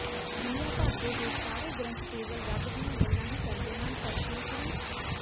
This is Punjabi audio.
ਦੁਨੀਆ ਭਰ ਦੇ ਹੋਰ ਸਾਰੇ ਗ੍ਰੰਥਕੇਵਲ ਰੱਬ ਦੀਆਂ ਗੱਲਾਂ ਹੀ ਕਰਦੇ ਹਨ ਪਰ ਸ਼੍ਰੀ ਗੁਰੂ